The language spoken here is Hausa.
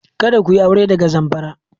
Kada ku yi aure daga Zamfara!